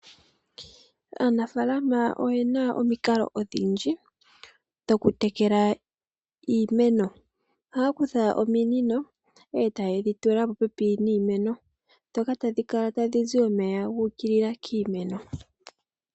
Aanafalama oyena omikalo odhindji dhokutekela iimeno, ohaya kutha ominino e taye dhi tula popepi niimeno. Dhoka tadhi kala tadhi zi omeya ga ukilila kiimeno.